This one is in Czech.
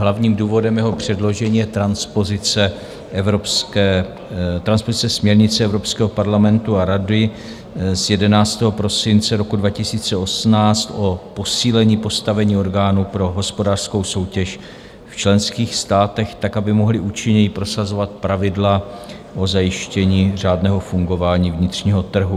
Hlavním důvodem jeho předložení je transpozice směrnice Evropského parlamentu a Rady z 11. prosince roku 2018, o posílení postavení orgánů pro hospodářskou soutěž v členských státech tak, aby mohly účinněji prosazovat pravidla o zajištění řádného fungování vnitřního trhu.